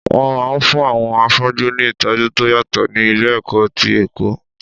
Wọn máa ń fún àwọn afọ́jú ní ìtọ́jú tó yàtọ̀ ní ilé-ẹ̀kọ́ ti Èkó.